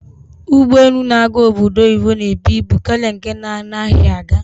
Ụgbọelu na-aga obodo oyibo na-ebu ibu karịa nke na-anaghị aga.